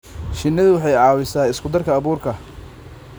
Shinnidu waxay caawisaa isku darka abuurka.